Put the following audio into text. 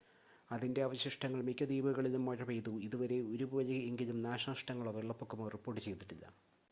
അതിൻ്റെ അവശിഷ്ടങ്ങൾ മിക്ക ദ്വീപുകളിലും മഴ പെയ്തു ഇതുവരെ ഒരു പോലെ എങ്കിലും നാശനഷ്ടങ്ങളോ വെള്ളപ്പൊക്കമോ റിപ്പോർട്ട് ചെയ്തിട്ടില്ല